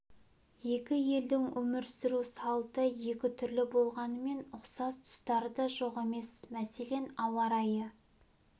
екі елдің өмір сүру салты екі түрлі болғанмен ұқсас тұстары да жоқ емес мәселен ауа райы